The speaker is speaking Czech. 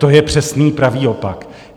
To je přesný pravý opak.